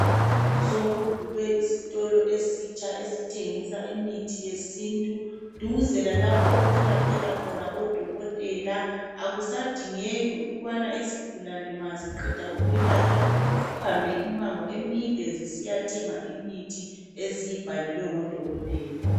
Sokuvulwe isitolo esitsha esithengisa imithi yesintu duze lalapho okwelaphela khona odokotela akusadingeki ukubana isigulane ma ziqeda ukwelatshwa zihambe imango emide zisiya thenga imithi eziyibhalelwe ngodokotela.